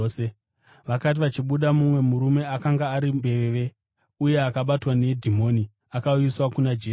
Vakati vachibuda, mumwe murume akanga ari mbeveve uye akabatwa nedhimoni akauyiswa kuna Jesu.